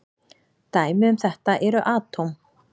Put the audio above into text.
Dæmi um þetta eru atóm.